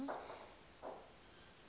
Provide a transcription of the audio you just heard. igama